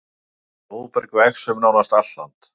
Blóðberg vex um nánast allt land.